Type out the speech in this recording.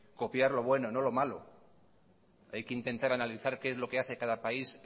copiar lo bueno y no lo malo hay que intentar analizar qué es lo que hace cada país